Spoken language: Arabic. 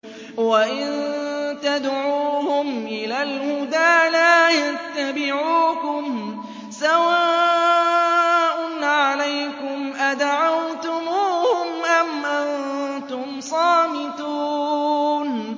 وَإِن تَدْعُوهُمْ إِلَى الْهُدَىٰ لَا يَتَّبِعُوكُمْ ۚ سَوَاءٌ عَلَيْكُمْ أَدَعَوْتُمُوهُمْ أَمْ أَنتُمْ صَامِتُونَ